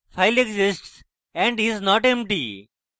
file exists and is not empty